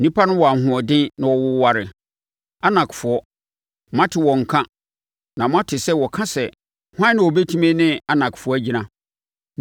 Nnipa no wɔ ahoɔden na wɔwoware—Anakfoɔ. Moate wɔn nka na moate sɛ wɔka sɛ, “Hwan na ɔbɛtumi ne Anakfoɔ agyina?”